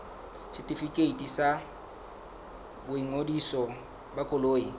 setefikeiti sa boingodiso ba koloi